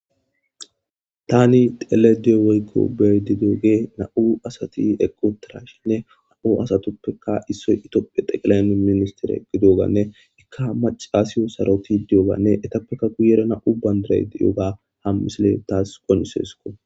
Tani xelayda diyo woyko beyayda diyogwy nam'u asati eqi utidashn qase nam'u asatuppeka issoy Ethiopia tekilay minsitere gididoganne eka macashiyo sarotidi doyoganne etupeka guye bagara nam'u bandray eqi utidoga ha misiley taasi qonciseseko